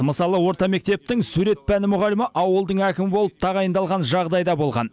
мысалы орта мектептің сурет пәні мұғалімі ауылдың әкімі болып тағайындалған жағдай да болған